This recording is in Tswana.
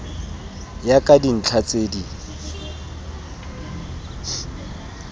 ya ka dintlha tse di